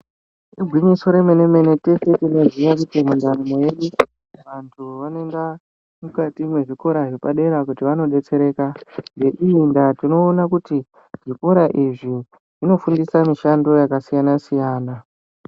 Igwinyiso remene-mene teshe tinoziya kuti vantu vanoenda mukati mwezvikora zvepadera kuti vano detsereka ngeiyi ngaa tinoona kuti zvikora izvi zvinofundisa mishando yakasiyana siyana.